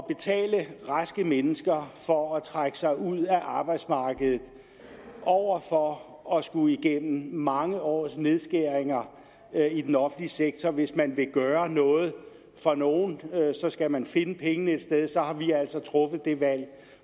betale raske mennesker for at trække sig ud af arbejdsmarkedet over for at skulle igennem mange års nedskæringer i den offentlige sektor og hvis man vil gøre noget for nogen så skal man finde pengene et sted og så har vi altså truffet det valg